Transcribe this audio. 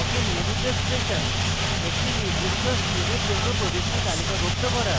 awk এ নিয়মিত expression একটি নির্দিষ্ট স্ট্রিমের জন্য প্রবিষ্টি তালিকাভুক্ত করা